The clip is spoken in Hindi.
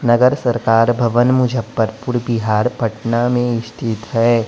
नगर सरकार भवन मुजफ्फरपुर बिहार पटना में स्थित हैं।